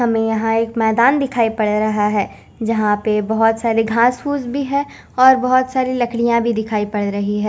हमें यहां एक मैदान दिखाई पड़ रहा हैं जहां पे बहोत सारे घास फूस भी हैं और बहोत सारी लकड़ियां भी दिखाई पड़ रही है।